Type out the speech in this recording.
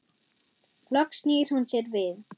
Loks snýr hún sér við.